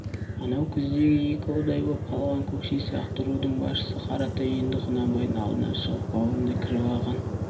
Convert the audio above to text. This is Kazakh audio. анау күздегі екі ұдай боп қалған көкше сияқты рудың басшысы қаратай енді құнанбайдың алдынан шығып баурына кіріп алған